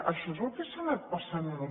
això és el que s’ha anat passant en els